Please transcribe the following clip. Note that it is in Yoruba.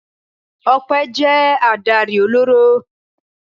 Ọpẹ́ jẹ́ adarí ọlọ́rọ̀.